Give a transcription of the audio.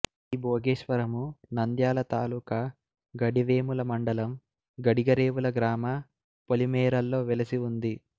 ఈ భోగేశ్వరము నంద్యాల తాలూక గడివేముల మండలం గడిగరేవుల గ్రామ పొలిమేరల్లో వెలసి ఉంది